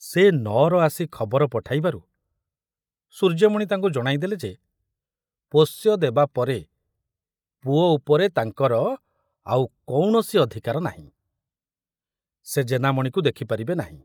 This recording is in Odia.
ସେ ନଅର ଆସି ଖବର ପଠାଇବାରୁ ସୂର୍ଯ୍ୟମଣି ତାଙ୍କୁ ଜଣାଇଦେଲେ ଯେ ପୋଷ୍ୟ ଦେବାପରେ ପୁଅ ଉପରେ ତାଙ୍କର ଆଉ କୌଣସି ଅଧିକାର ନାହିଁ, ସେ ଜେନାମଣିକୁ ଦେଖିପାରିବେ ନାହିଁ।